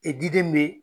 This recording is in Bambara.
E diden bɛ